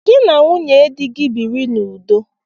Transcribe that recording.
Gị na nwunye di gị biri n'udo!